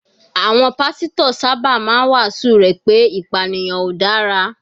Àwọn pásítọ̀ sábà máa ń wàásù rẹ̀ pé ìpànìyàn ò dára.